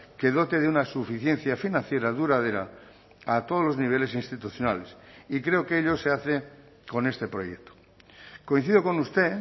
que dote de una suficiencia financiera duradera a todos los niveles institucionales y creo que ello se hace con este proyecto coincido con usted